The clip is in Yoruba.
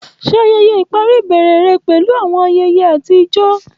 Ṣe ayẹyẹ ipari ibẹrẹ rẹ pẹlu awọn ayẹyẹ ati awọn ijó.